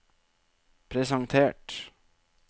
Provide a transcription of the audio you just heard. presentert